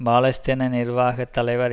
பாலஸ்தீன நிர்வாக தலைவர்